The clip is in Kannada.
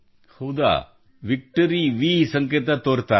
ಹೌದಾ ವಿಕ್ಟರಿಯ ವಿ ಸಂಕೇತ ತೋರುತ್ತಾರಾ